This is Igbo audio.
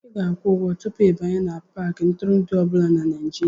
Ị ga-akwụ ụgwọ tupu ịbanye n'Paakị ntụrụndụ ọ bụla na Nigeria